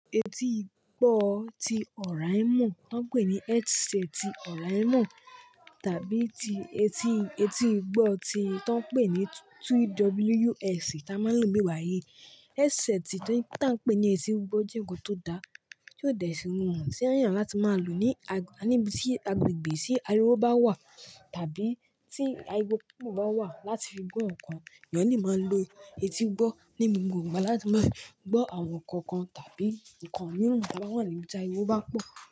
Etí gbọ́ ti Òràìmọ̀ tọ́n ń pè ní headset Òràìmọ̀ tàbí ti etí, etí gbọ́ ti tọ́n ń pè ní TWS tí a máa ń lò níbi ba yìí. Headset tí, tí a ń pè ní etí gbọ́ jẹ́ nnkan tó da, tí ò dẹ sí rorun, sí eyàn láti máa lò ní a-níbi tí agbègbè tí ariwo bá wà tàbí tí ariwo pupo bá wà láti fi gbọ́ nǹkan. Ènìyàn le máa lo etí gbọ́ ní gbogbo igba láti máa gbọ́ àwọn nǹkan kan tàbí nǹkan mìíràn tí a bá wà níbi tí ariwo bá pọ̀.